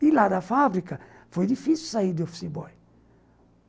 E lá da fábrica foi difícil sair de office boy.